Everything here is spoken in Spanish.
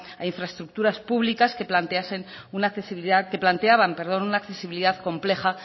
a infraestructuras públicas que planteaban una accesibilidad compleja